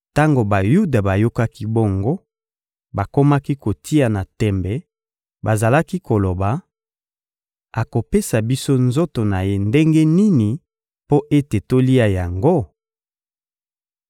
Tango Bayuda bayokaki bongo, bakomaki kotiana tembe; bazalaki koloba: — Akopesa biso nzoto na ye ndenge nini mpo ete tolia yango?